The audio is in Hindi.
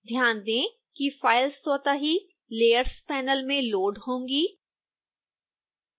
ध्यान दें कि फाइल स्वतः ही layers panel में लोड़ होगी